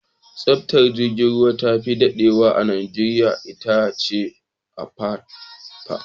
Tashar jirgin ruwan da tafi dadewa a Najeriya itace Apapa?